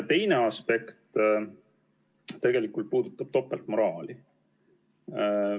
Teine aspekt puudutab topeltmoraali.